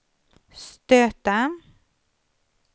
stöta